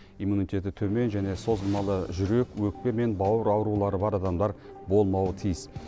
иммунитеті төмен және созылмалы жүрек өкпе мен бауыр аурулары бар адамдар болмауы тиіс